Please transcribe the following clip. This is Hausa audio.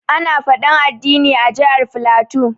Ana faɗan addini a jihar flatu.